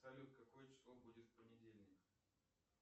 салют какое число будет в понедельник